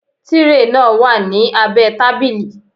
Tírè náà wà ní abẹ́ẹ tábìlì